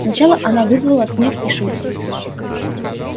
сначала она вызвала смех и шутки